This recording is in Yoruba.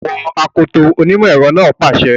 O gbúdọ̀ wọ akoto! onímọ̀ ẹ̀rọ náà pàṣẹ.